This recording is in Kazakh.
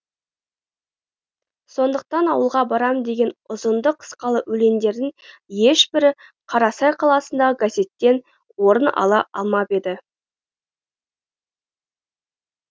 сондықтан ауылға барам деген ұзынды қысқалы өлеңдердің ешбірі қарасай қаласындағы газеттен орын ала алмап еді